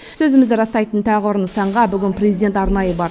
сөзімізді растайтын тағы бір нысанға бүгін президент арнайы бар